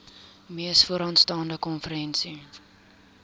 mees vooraanstaande konferensie